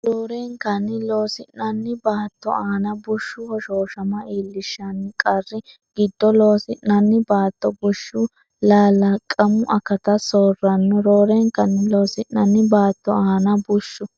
Roorenkanni loosi’nanni baatto aana bushshu hoshooshama iillishshan- qarri giddo loosi’nanni baatto bushshi lalaqamu akata soorranno Roorenkanni loosi’nanni baatto aana bushshu.